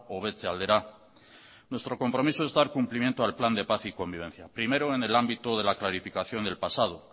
hobetze aldera nuestro compromiso es dar cumplimiento al plan de pan y convivencia primero en el ámbito de la clarificación del pasado